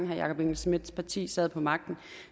herre jakob engel schmidts parti sad på magten